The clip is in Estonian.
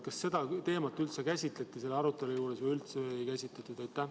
Kas seda teemat üldse käsitleti sellel arutelul või ei käsitletud?